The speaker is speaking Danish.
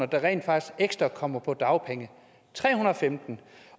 der rent faktisk kommer på dagpenge tre hundrede og femten